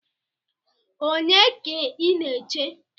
Onye ka ị na-eche?